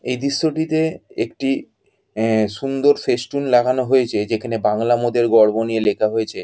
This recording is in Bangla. এ দৃশ্যটিতে একটি অ্যা সুন্দর ফেস্টুন লাগানো হয়েছে যেখানে বাংলা মোদের গর্ব নিয়ে লেখা হয়েছে।